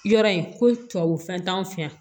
Yɔrɔ in ko tubabu fɛn t'anw fɛ yan